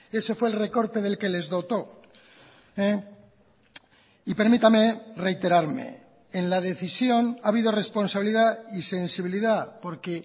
ese fue el recorte del que les dotó y permítame reiterarme en la decisión ha habido responsabilidad y sensibilidad porque